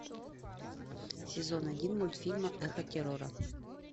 сезон один мультфильма эхо террора